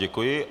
Děkuji.